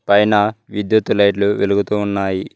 పైన విద్యుత్ లైట్లు వెలుగుతూ ఉన్నాయి.